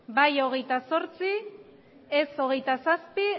bai hogeita zortzi ez hogeita zazpi